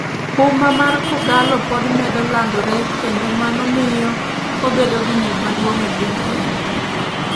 Huma mar kogallo pod medo landore kendo mano miyo obedo gi nying' maduong' e piny kenya